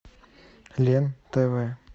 лен тв